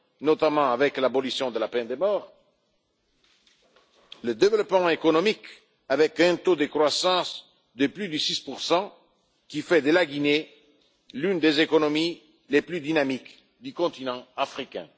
notamment avec l'abolition de la peine de mort, le développement économique, avec un taux de croissance de plus de 6 qui fait de la Guinée l'une des économies les plus dynamiques du continent africain.